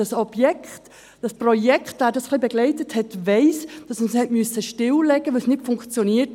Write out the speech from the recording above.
Wer das Projekt ein wenig begleitet hat, weiss, dass man es stilllegen musste, weil es nicht funktionierte.